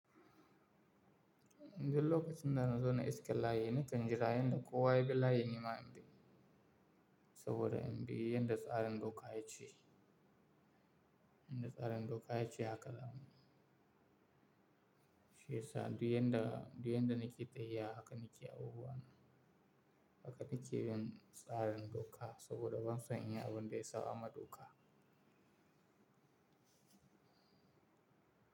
Inde lokacin da na zo na iske layin, na kan jira yanda kowa ya bi layi nima in bi, saboda in bi yanda tsarin doka ya ce, yanda tsarin doka ya ce haka zamu. Shiyasa duk yanda, duk yanda nake tafiya haka nake abubuwana, haka nake bin tsarin doka saboda ban son in yi abun da ya saɓamaa doka.